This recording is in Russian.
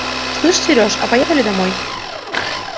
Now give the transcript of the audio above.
слышь сереж а поехали домой